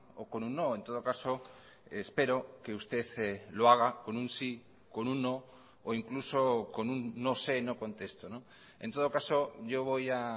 o con un no en todo caso espero que usted lo haga con un sí con un no o incluso con un no sé no contesto en todo caso yo voy a